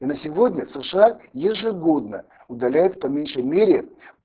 на сегодня сша ежегодно удаляет по меньшей мере